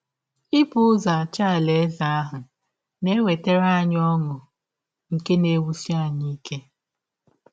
Ibụ ụzọ achọ Alaeze ahụ na - ewetara anyị ọṅụ nke na - ewụsi anyị ike.